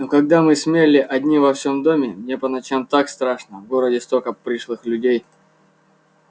но когда мы с мелли одни во всём доме мне по ночам так страшно в городе столько пришлых людей